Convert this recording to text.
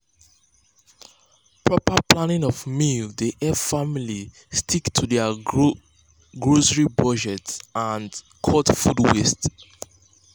proper planning of meals dey help families stick to dir grocery budget and cut food waste.